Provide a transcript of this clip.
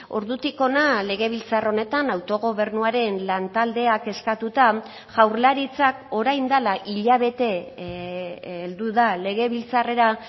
ordutik hona legebiltzar honetan autogobernuaren lantaldeak eskatuta jaurlaritzak orain dela hilabete heldu da legebiltzarrera